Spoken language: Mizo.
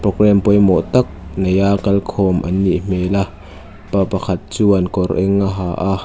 programme pawimawh tak neia kal khawm an nih hmel a pa pakhat chuan kawr eng a ha a.